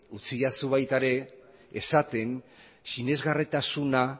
utzidazu baita ere esaten sinesgarritasuna